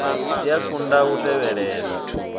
i a konḓa u tevhelela